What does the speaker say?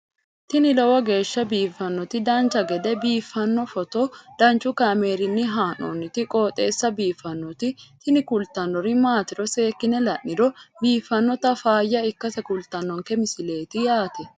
tini lowo geeshsha biiffannoti dancha gede biiffanno footo danchu kaameerinni haa'noonniti qooxeessa biiffannoti tini kultannori maatiro seekkine la'niro biiffannota faayya ikkase kultannoke misileeti yaate